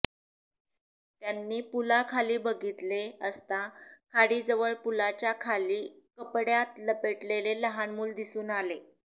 त्यांनी पुलाखाली बघितले असता खाडीजवळ पुलाच्या खाली कपड्यात लपेटलेले लहान मूल दिसून आले